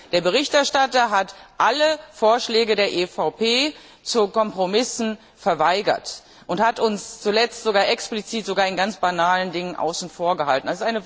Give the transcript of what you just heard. Der Berichterstatter hat alle Vorschläge der EVP zu Kompromissen verweigert und uns zuletzt explizit sogar in ganz banalen Dingen außen vor gehalten.